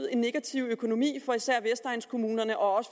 en negativ økonomi for især vestegnskommunerne og